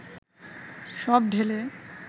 সব ঢেলে